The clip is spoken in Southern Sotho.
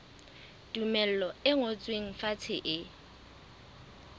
tumello e ngotsweng fatshe e